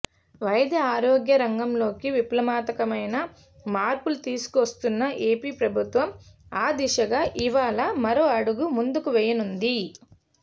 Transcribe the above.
వైద్య ఆరోగ్య రంగంలోకి విప్లవాత్మకమైన మార్పులు తీసుకువస్తున్న ఏపీ ప్రభుత్వం ఆ దిశగా ఇవాళ మరో అడుగు ముందుకు వేయనుంది